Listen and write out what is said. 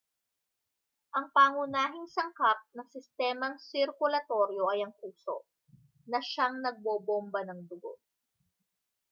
ang pangunahing sangkap ng sistemang sirkulatoryo ay ang puso na siyang nagbobomba ng dugo